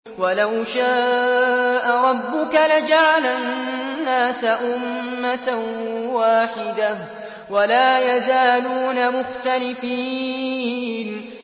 وَلَوْ شَاءَ رَبُّكَ لَجَعَلَ النَّاسَ أُمَّةً وَاحِدَةً ۖ وَلَا يَزَالُونَ مُخْتَلِفِينَ